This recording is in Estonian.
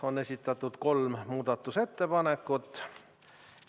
On esitatud kolm muudatusettepanekut.